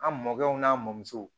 An mɔkɛw n'a mɔmusow